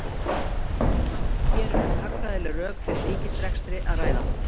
Hér er um hagfræðileg rök fyrir ríkisrekstri að ræða.